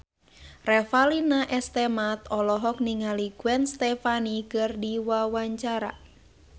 Revalina S. Temat olohok ningali Gwen Stefani keur diwawancara